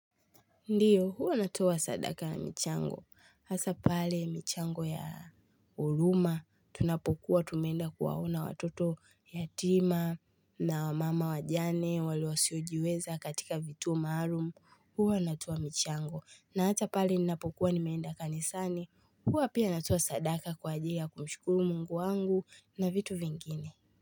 Ndiyo huwa natoa sadaka na michango hasa pale michango ya huruma tunapokuwa tumeenda kuwaona watoto yatima na wa mama wajane wale wasiojiweza katika vituo maalum huwa natoa michango na hata pale ninapokuwa nimeenda kanisani huwa pia natoa sadaka kwa ajili ya kumshukuru mungu wangu na vitu vingine.